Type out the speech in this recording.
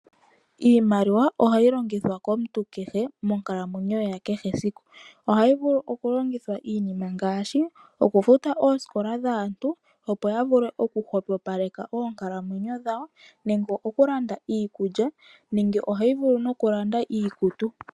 Iimaliwa ohayi longithwa komuntu kehe monkalamwenyo yakehe esiku. Ohayi vulu okulongithwa iinima ngaashi: okufuta oosikola dhaantu, opo ya vule okuhwepopaleka oonkalamwenyo dhawo nenge okulanda iikulya nenge ohayi vulu nokulanda iikutu.